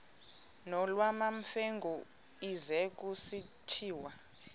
nolwamamfengu ize kusitiya